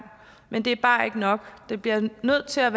men det er bare ikke nok vi bliver nødt til at